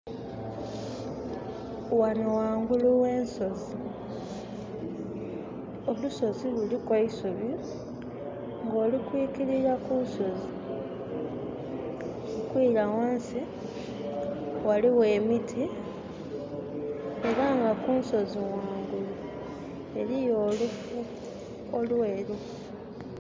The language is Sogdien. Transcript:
Ghhano ghangulu ghensozi, olusozi luliku eisubi nga oli kwikilila ku lusozi okwila ghansi, ghaligho emiti era nga kunsozi ghangulu eriyo oluufu olweru.